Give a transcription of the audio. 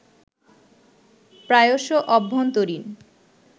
প্রায়শ অভ্যন্তরীণ